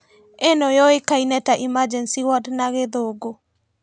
Ĩno yũĩkaine ta emergency ward na gĩthũngũ